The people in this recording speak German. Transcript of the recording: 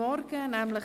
Fortsetzung